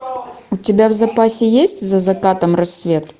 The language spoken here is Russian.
у тебя в запасе есть за закатом рассвет